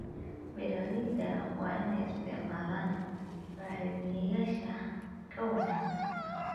Beeralayda waa inay isticmaalaan bacrimiyeyaasha ka wanaagsan.